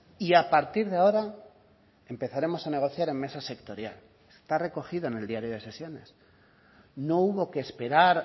y a partir de ahora empezaremos a negociar en mesa sectorial está recogido en el diario de sesiones no hubo que esperar